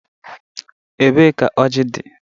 Ebee ka ọji dị?